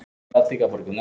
Barnið dró að sér andann.